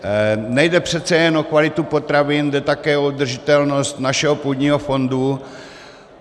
Nejde přece jen o kvalitu potravin, jde také o udržitelnost našeho půdního fondu.